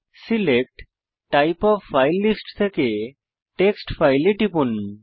select type of file list থেকে text file এ টিপুন